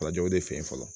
o de fe yen fɔlɔ